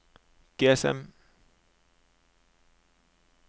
GSM